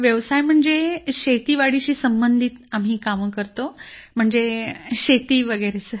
व्यवसाय म्हणजे शेतीवाडीशी संबंधित कामं करतो शेती वगैरे